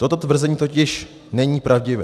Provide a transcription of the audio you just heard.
Toto tvrzení totiž není pravdivé.